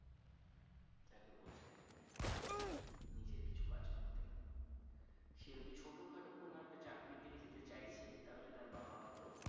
সে যদি ছোটখাটো কোন একটা চাকরির দিকে যেতে চাইছে তাহলে তার বাবা হয়তো